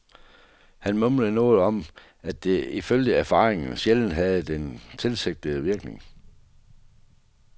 Han mumlede noget om, at det ifølge erfaringen sjældent havde den tilsigtede virkning.